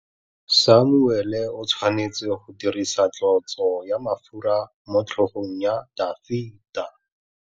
Samuele o tshwanetse go dirisa tlotsô ya mafura motlhôgong ya Dafita.